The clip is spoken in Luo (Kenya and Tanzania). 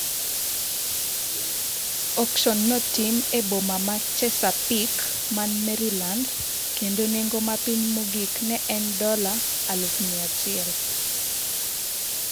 Auksion no otim e boma ma Chesapeake man Maryland, kendo nengo mapiny mogik ne en dola 100,000.